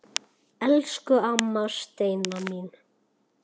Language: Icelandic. Elsku amma Steina mín.